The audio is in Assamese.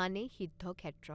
মানে সিদ্ধ ক্ষেত্ৰ।